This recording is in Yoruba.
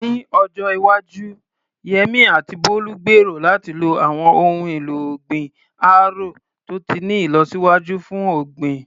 Ní ọjọ́ iwájú, Yemí àti Bólú gbèrò láti lo àwọn ohun èlò ọ̀gbìn árò tó ti ní ìlọsíwájú fún ọ̀gbìn.